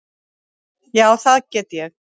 Já, það get ég.